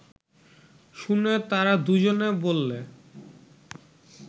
শুনে তারা দুজনে বললে